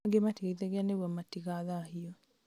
angĩ matigeithanagia nĩguo matigathahio